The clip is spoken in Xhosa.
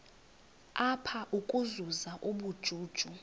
apha ukuzuza ubujuju